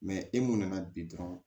e mun nana bi dɔrɔn